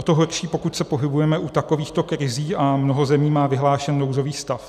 O to horší, pokud se pohybujeme u takovýchto krizí a mnoho zemí má vyhlášen nouzový stav.